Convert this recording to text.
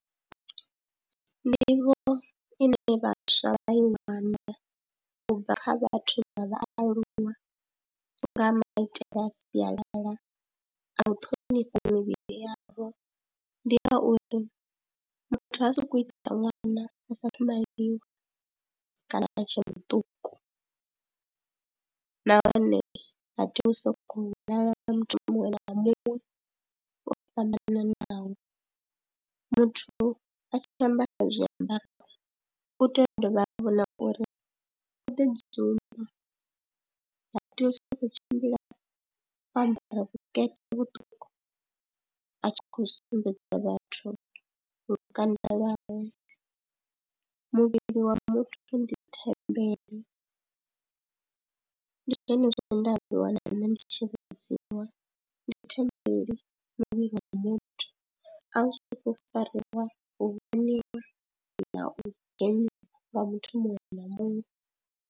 Nḓivho ine vhaswa vha i wana u bva kha vhathu vha vhaaluwa nga maitele a sialala a u ṱhonifha mivhili yavho, ndi ya uri muthu ha sokou i ta ṅwana a saathu maliwa kana a tshe muṱuku nahone ha tei u sokou lala na muthu muṅwe na muṅwe o fhambananaho. Muthu a tshi ambara zwiambaro u tea u dovha vha vhona uri o ḓidzumba, ha tea u sokou tshimbila o ambara vhukete vhuṱuku a tshi khou sumbedza vhathu lukanda lwavhe. Muvhili wa muthu ndi thembele ndi zwone zwe nda ḓiwana ndi tshi vhudziwa, ndi thembele muvhili wa muthu a u sokou fariwa, u vhoniwa na u dzheniwa nga muthu muṅwe na muṅwe.